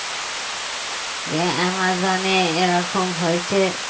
যে অ্যামাজনে এরকম হয়েছে